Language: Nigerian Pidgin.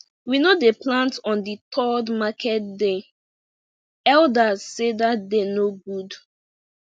we no dey plant on the third market day elders sey that day no good